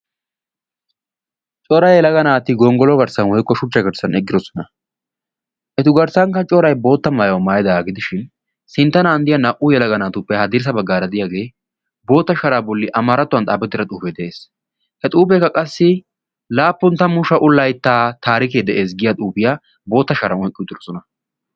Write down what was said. corai yelaga naati gonggolo garssan hoiqqo shuchcha karcsan eggirosona etu garssankka corai bootta maayuau maayida gidishin sinttanaanddiya naa77u yalaga naatuppe hadirisa baggaara diyaagee bootta shaaraa bolli amaarattuwan xaabettira xuufee de7ees he xuufeekka qassi laappun tammu sha7u laittaa taarikee de7ees giya xuufiyaa bootta shara oqqi utirosona